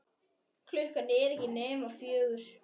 Klukkan er ekki nema fjögur.